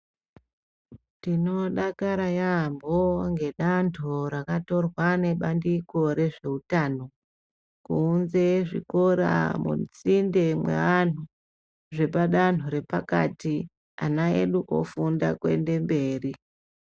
Tinodakara yaamho ngedanho rakatorwa ngebandiko rezveutano kuunze zvikora musinde mweantu zvepadanho repakati, ana edu ofunda kuende mberi.